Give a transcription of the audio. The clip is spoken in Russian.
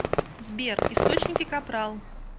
сбер источники капрал